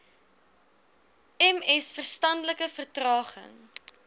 ms verstandelike vertraging